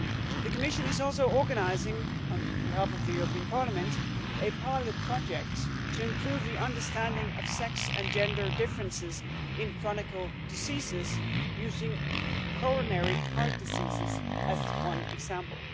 The Commission is also organising, on behalf of the Parliament, a pilot project to improve the understanding of sex and gender differences in chronic diseases, using coronary heart disease as one example.